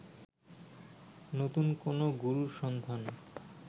নতুন কোনো গুরুর সন্ধান